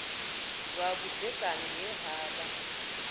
lwa vhudzekani he ha vha